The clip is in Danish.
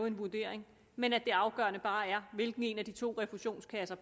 en vurdering men at det afgørende bare er hvilken af de to refusionskasser